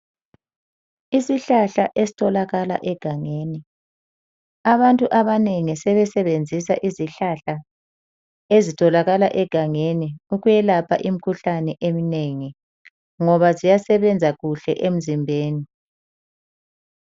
Isihlahla esitholakala egangeni abantu abanengi sebesebenzisa izihlahla ezitholakala egangeni ukwelapha imkhuhlane emnengi ngoba ziyasebenza kuhle emzimbeni.